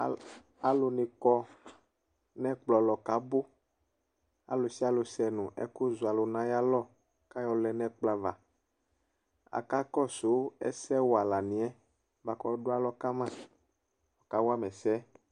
Al alʋnɩ kɔ nʋ ɛkplɔ lɔ kʋ abʋ Alʋ sɩalʋ sɛ nʋ ɛkʋzɔalʋ nʋ ayalɔ kʋ ayɔlɛ nʋ ɛkplɔ ava Akakɔsʋ ɛsɛwalanɩ yɛ bʋa kʋ ɔdʋ alɔ kama kawa ma ɛsɛ